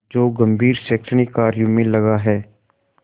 जो गंभीर शैक्षणिक कार्यों में लगा है